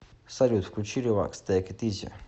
салют включи релакс тэйк ит изи